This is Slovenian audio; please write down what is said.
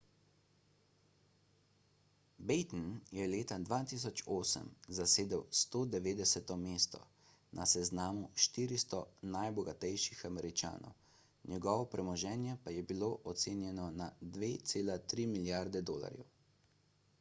batten je leta 2008 zasedel 190 mesto na seznamu 400 najbogatejših američanov njegovo premoženje pa je bilo ocenjeno na 2,3 milijarde dolarjev